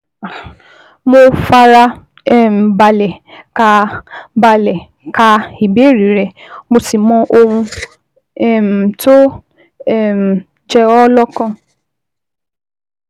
Mo fara um balẹ̀ ka balẹ̀ ka ìbéèrè rẹ, mo sì mọ ohun um tó um ń jẹ ọ́ lọ́kàn